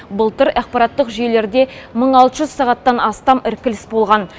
былтыр ақпараттық жүйелерде мың алты жүз сағаттан астам іркіліс болған